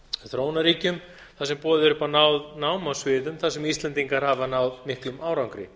þróunarríkjum þar sem boðið er upp á nám á sviðum þar sem íslendingar hafi náð miklum árangri